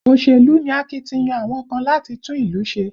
Òṣèlú ni akitiyan àwọn kan láti tún ìlú ṣe